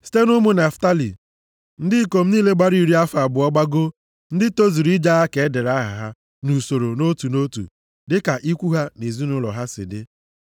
Site nʼụmụ Naftalị, ndị ikom niile gbara iri afọ abụọ gbagoo, ndị tozuru ije agha ka e dere aha ha nʼusoro nʼotu nʼotu dị ka ikwu ha na ezinaụlọ ha si dị.